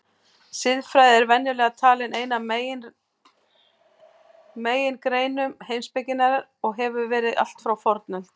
Siðfræði er venjulega talin ein af megingreinum heimspekinnar og hefur verið allt frá fornöld.